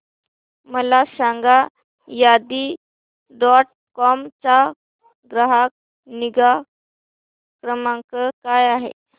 मला सांगा Shaadi dot com चा ग्राहक निगा क्रमांक काय आहे